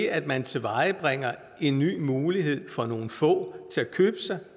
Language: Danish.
at man tilvejebringer en ny mulighed for nogle få til at købe sig